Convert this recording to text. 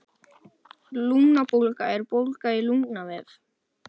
Lungnabólga er bólga í lungnavef.